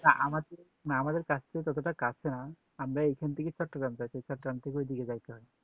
না আমাদের কাছ থেকে ততটা কাছে না আমরা এখান থেকে চট্টগ্রাম যাই চট্টগ্রাম থেকে ওই দিকে যাইতে হয়